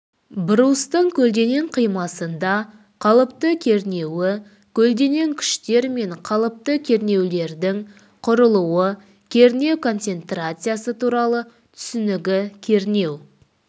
брустың көлденең қимасында қалыпты кернеуі көлденең күштер мен қалыпты кернеулердің құрылуы кернеу концентрациясы туралы түсінігі кернеу